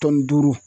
Tɔnni duuru